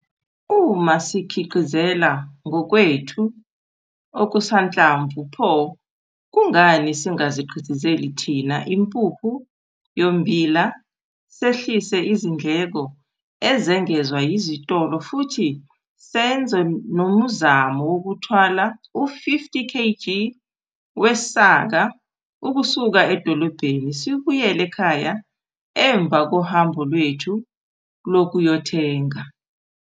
Uma sizikhiqizela ngokwethu okusanhlamvu, pho kungani singazikhiqizeli thina impuphu yommbila sehlise izindleko ezengezwa yizitolo futhi senze nomuzamo wokuthwala u-50 kg wesaka ukusuka edolobheni sibuyele ekhaya emva kohambo lwethu lokuyothenga?